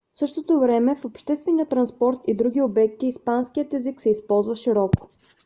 в същото време в обществения транспорт и други обекти испанският език се използва широко